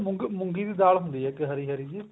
ਮੂੰਗੀ ਦੀ ਦਾਲ ਹੁੰਦੀ ਆ ਇੱਕ ਹਰੀ ਹਰੀ ਜੀ